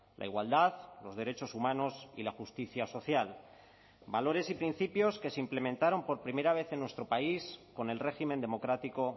la igualdad los derechos humanos y la justicia social valores y principios que se implementaron por primera vez en nuestro país con el régimen democrático